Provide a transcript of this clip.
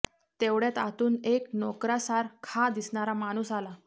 तेवढ्यात आतून एक नोकरासार खा दिसणारा माणूस आला